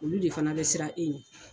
Olu de fana bɛ siran e ɲɛ.